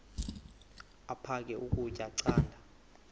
aphek ukutya canda